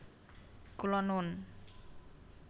Kula nun